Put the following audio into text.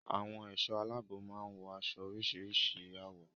Àwọn ẹ̀ṣọ́ aláàbò máa ń wọ aṣọ-iṣẹ́ oríṣìíríṣìí àwọ̀.